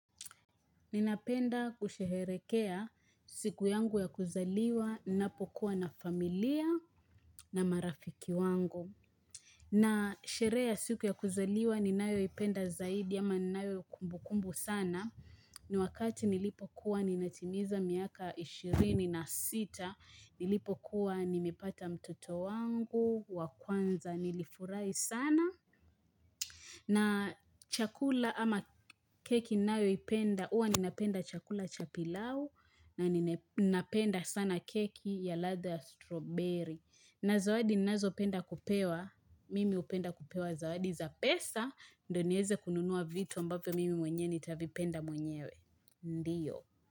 Ninapenda kusheherekea siku yangu ya kuzaliwa, ninapokuwa na familia na marafiki wangu. Na sherehe ya siku ya kuzaliwa ninayo ipenda zaidi ama ninayo kumbu kumbu sana. Ni wakati nilipokuwa ninatimiza miaka ishirini na sita, nilipokuwa nimepata mtoto wangu, wakwanza nilifuri sana. Na chakula ama keki nao ipenda, uwa ninapenda chakula chapilau na ninapenda sana keki ya latha ya strawberry. Na zawadi nazo penda kupewa, mimi upenda kupewa zawadi za pesa, ndo nyeweze kununua vitu ambavyo mimi mwenye nita vipenda mwenyewe. Ndiyo.